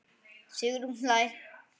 Sigrún hlær.